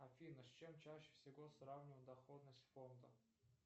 афина с чем чаще всего сравнивают доходность фонда